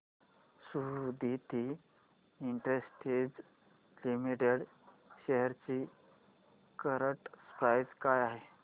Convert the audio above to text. Suditi Industries Limited shares ची current price काय आहे